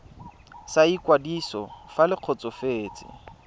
sa ikwadiso fa le kgotsofetse